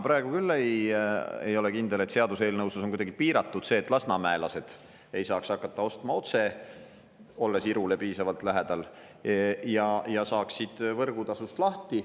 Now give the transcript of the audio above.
Mina küll ei ole kindel, et seaduseelnõus on see kuidagi piiratud ja et lasnamäelased ei saaks hakata otse ostma, olles Irule piisavalt lähedal, nii nad saaksid võrgutasust lahti.